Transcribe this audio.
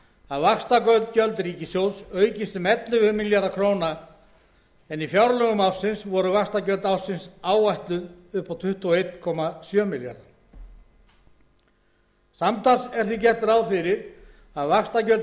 að vaxtagjöld ríkissjóðs aukist um ellefu milljarða króna en í fjárlögum ársins voru vaxtagjöld áætluð um tuttugu og einn komma sjö milljarðar króna samtals er því gert ráð fyrir að vaxtagjöld